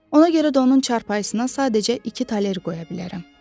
Ona görə də onun çarpayısına sadəcə iki toler qoya bilərəm.